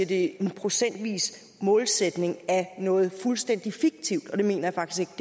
det er en procentvis målsætning af noget fuldstændig fiktivt og det mener jeg faktisk